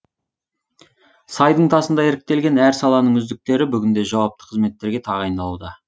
сайдың тасындай іріктелген әр саланың үздіктері бүгінде жауапты қызметтерге тағайындалуда